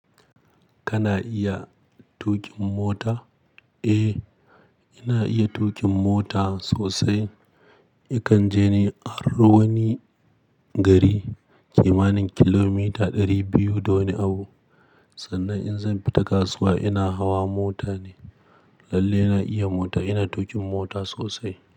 Kana iya tuƙin mota? Eh, ina iya tuƙin mota sosai. Yakan je ni a ruwanin gari kimanin kilomita ɗari biyu da wani abu. Sannan in zan fita kasuwa ina hawa mota ne. Lalle ina iya mota. Ina tuƙin mota sosai.